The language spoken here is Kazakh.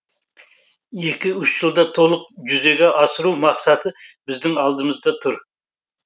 екі үш жылда толық жүзеге асыру мақсаты біздің алдымызда тұр